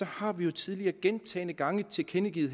har vi jo tidligere gentagne gange tilkendegivet